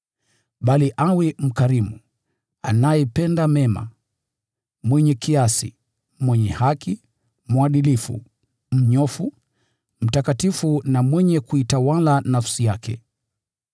Bali awe mkarimu, anayependa mema, mwenye kiasi, mwenye haki, mwadilifu, mnyofu, mtakatifu na mwenye kuitawala nafsi yake.